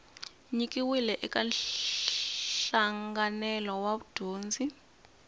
nyikiwile eka nhlanganelo wa vudyondzi